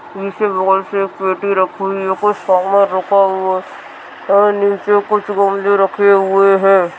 एक पेटी रखी हुई है कुछ सामान रखा हुआ है और नीचे कुछ गमले रखे हुए हैं।